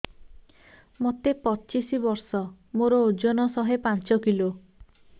ମୋତେ ପଚିଶି ବର୍ଷ ମୋର ଓଜନ ଶହେ ପାଞ୍ଚ କିଲୋ